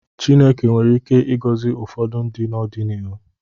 Chineke nwere ike ịgọzi ụfọdụ ndị n’ọdịnihu.